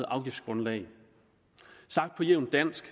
afgiftsgrundlag sagt på jævnt dansk